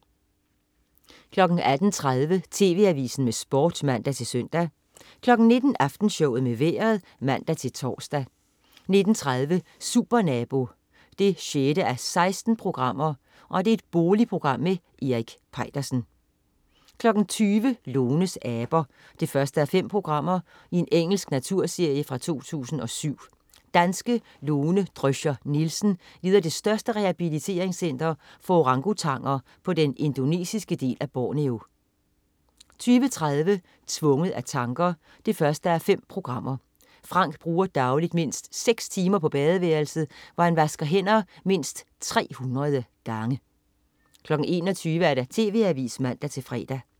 18.30 TV Avisen med Sport (man-søn) 19.00 Aftenshowet med Vejret (man-tors) 19.30 Supernabo 6:16. Boligprogram med Erik Peitersen 20.00 Lones aber 1:5. Engelsk naturserie fra 2007. Danske Lone Drøscher Nielsen leder det største rehabiliteringscenter for orangutanger på den indonesiske del af Borneo 20.30 Tvunget af tanker 1:5. Frank bruger dagligt mindst seks timer på badeværelset, hvor han vasker hænder mindst 300 gange 21.00 TV Avisen (man-fre)